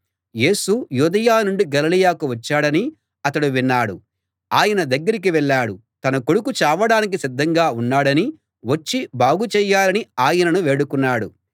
యేసు యూదయ నుండి గలిలయకు వచ్చాడని అతడు విన్నాడు ఆయన దగ్గరికి వెళ్ళాడు తన కొడుకు చావడానికి సిద్ధంగా ఉన్నాడనీ వచ్చి బాగుచేయాలనీ ఆయనను వేడుకున్నాడు